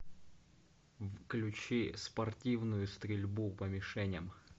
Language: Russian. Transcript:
включи спортивную стрельбу по мишеням